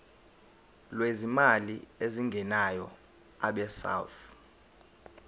lwezimali ezingenayo abesouth